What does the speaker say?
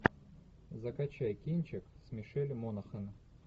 закачай кинчик с мишель монахэн